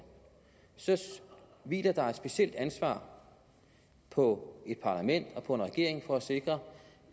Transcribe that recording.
så hviler der et specielt ansvar på et parlament og på en regering for at sikre